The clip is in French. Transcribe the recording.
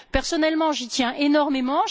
Personnellement, j'y tiens énormément.